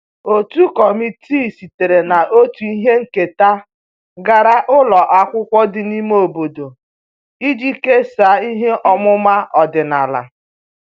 Otu kọmitii sitere na otu ihe nketa gara ụlọ akwụkwọ dị n'ime obodo iji kesaa ihe ọmụma ọdịnala